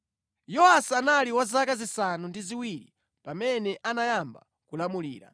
Yowasi anali wa zaka zisanu ndi ziwiri pamene anayamba kulamulira.